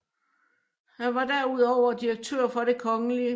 Han var derudover direktør for Det Kgl